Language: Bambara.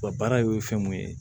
Wa baara ye fɛn mun ye